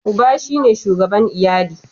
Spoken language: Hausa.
Uba shi ne shugaban iyali.